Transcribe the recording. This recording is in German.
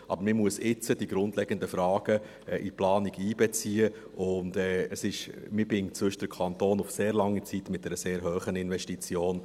Aber man muss jetzt die grundlegenden Fragen in die Planung einbeziehen, sonst bindet man den Kanton auf sehr lange Zeit mit einer sehr hohen Investition.